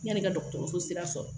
Yani ka dɔgɔtɔrɔso sira sɔrɔ